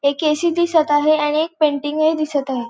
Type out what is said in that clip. एक A C दिसत आहे आणि एक पेंटिंगूय दिसत आहे.